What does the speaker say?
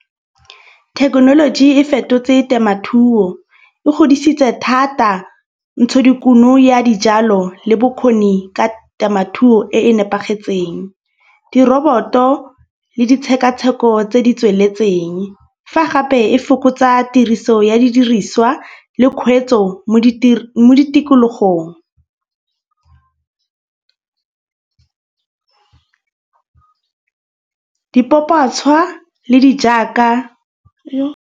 Thekenoloji e fetotse temathuo e godisitse thata ntshodikuno ya dijalo le bokgoni ka temothuo e e nepagetseng. Diroboto le ditshekatsheko tse di tsweletseng. Fa gape e fokotsa tiriso ya didiriswa le kgweetso mo mo ditikologong dipopatshwa le di jaaka .